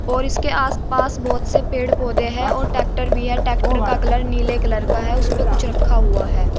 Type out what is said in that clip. और इसके आसपास बोहोत से पेड़ पौधे हैं और ट्रैक्टर भी है। ट्रैक्टर का कलर नीले कलर का है। उसपे कुछ रखा हुआ है।